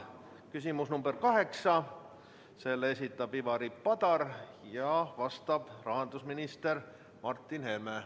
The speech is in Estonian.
Küsimus nr 8, selle esitab Ivari Padar ja vastab rahandusminister Martin Helme.